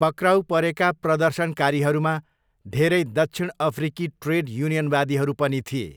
पक्राउ परेका प्रदर्शनकारीहरूमा धेरै दक्षिण अफ्रिकी ट्रेड युनियनवादीहरू पनि थिए।